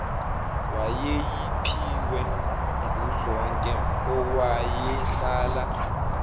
wayeyiphiwe nguzonke owayehlala